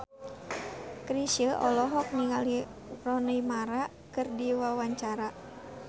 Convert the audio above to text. Chrisye olohok ningali Rooney Mara keur diwawancara